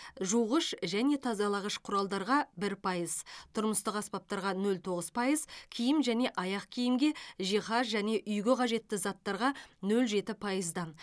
жуғыш және тазалағыш құралдарға бір пайыз тұрмыстық аспаптарға нөл тоғыз пайыз киім және аяқ киімге жиһаз және үйге қажетті заттарға нөл жеті пайыздан